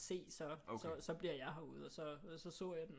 Se så bliver jeg herude og så så jeg den